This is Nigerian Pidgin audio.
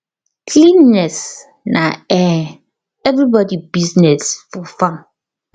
cleanliness na um everybody business for farm